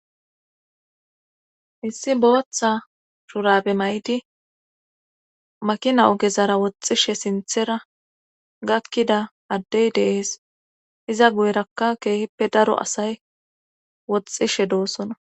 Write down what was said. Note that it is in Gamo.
issi booththa shurabe may7di makina ogezara woxxishe sinthera gakkida addey deees iza guyrakka keehippe daro asay woxxishe doosona